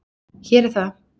Hér er það.